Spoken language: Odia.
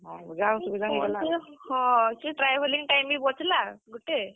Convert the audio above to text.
ହଁ ସେ travelling time ବି ବଚ୍ ଲା ଗୁଟେ।